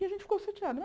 E a gente ficou chateada.